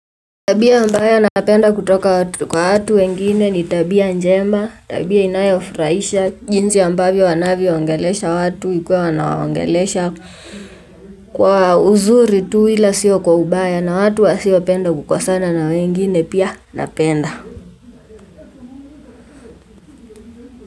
Tabia mbaya napenda kutoka watu kwa watu wengine ni tabia njema, tabia inayofurahisha, jinsi ambavyo wanavyo ongelesha watu ikuwa wana waongelesha kwa uzuri tu ila sio kwa ubaya na watu wasiopenda kukosana na wengine pia napenda.